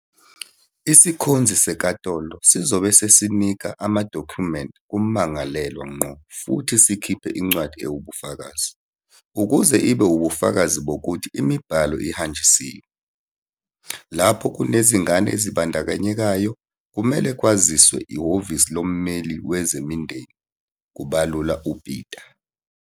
"Isikhonzi senkantolo sizobe sesinika amadokhumenti kummangalelwa ngqo futhi sikhiphe incwadi ewubufakazi, ukuze ibe ubufakazi bokuthi imibhalo ihanjisiwe. Lapho kunezingane ezibandakanyekayo, kumele kwaziswe iHhovisi loMmeli Wezemindeni," kubalula uPeta.